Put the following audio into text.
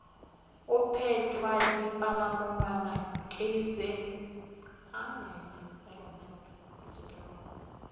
go pentwa dipalamonwana ke tša